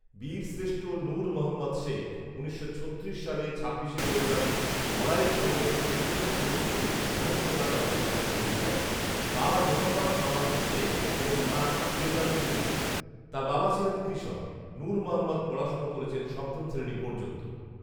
বীরশ্রেষ্ঠ নূর মোহাম্মদ শেখ উনিশশো ছত্রিশ সালে ছাব্বিশে ফেব্রুয়ারি নড়াইল সদরের চন্ডীকপুরস্থ মহেশখোলা গ্রামে জন্মগ্রহণ করেন ৷ বাবা মোহাম্মদ আমানত শেখ এবং মা জেন্নাতুন্নেসা ৷ তার বাবা ছিলেন কৃষক ৷নূর মোহাম্মদ পড়াশোনা করেছেন সপ্তম শ্রেণী পর্যন্ত